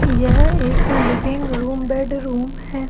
यह एक living room bedroom हैं।